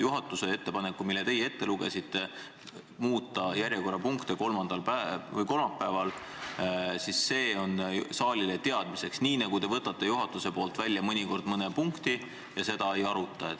Juhatuse ettepanek, mille teie ette lugesite – muuta kolmapäevase päevakorra punktide järjekorda –, on saalile teadmiseks, nii nagu te mõnikord jätate juhatuse nimel mõne punkti välja ja seda ei arutata.